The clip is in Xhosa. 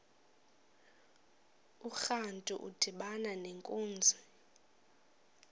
urantu udibana nenkunzi